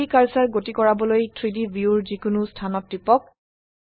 3ডি কাৰ্সাৰ গতি কৰাবলৈ 3ডি ভিউৰ যিকোনো স্থানত টিপক